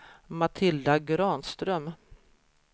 Matilda Granström